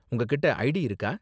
உங்ககிட்ட ஐடி இருக்கா?